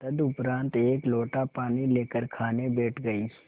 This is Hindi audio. तदुपरांत एक लोटा पानी लेकर खाने बैठ गई